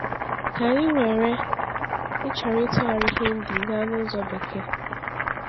Ka anyị were, i chọrọ ịtụgharị Hindi gaa n’ụzọ Bekee.